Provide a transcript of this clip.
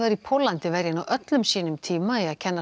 í Póllandi verja nú öllum sínum tíma í að kenna